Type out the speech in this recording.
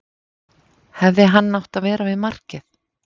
Hefði hann átt að vera við markið?